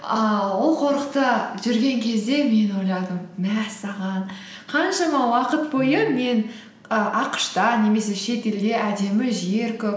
ааа ол қорықта жүрген кезде мен ойладым мәссаған қаншама уақыт бойы мен і ақш та немесе шетелде әдемі жер көп